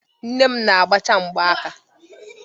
Nne m na-agbacha m mbọ aka.